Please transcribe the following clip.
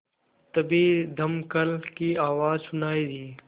तभी दमकल की आवाज़ सुनाई दी